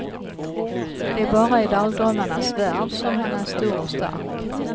Det är bara i dagdrömmarnas värld som han är stor och stark.